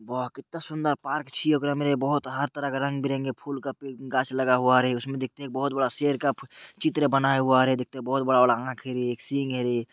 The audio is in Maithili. वाह कित्ता सुन्दर पार्क छे ओकरा में रे बोहोत हर तरह का रंग-बिरंगे फूल का पे गाछ लगा हुआ है रे उसमे देखते है एक बोहोत बड़ा शेर का चित्र बना हुआ देखते है रे बोहोत बड़ा-बड़ा आँख है रे एक सींग है रे।